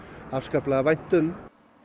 afskaplega vænt um